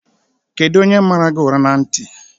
Kedụ onye mara gị ụra na ntị?